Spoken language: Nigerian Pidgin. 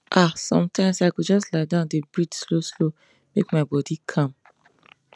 ahsometimes i go just lie down dey breathe slowslow make my body calm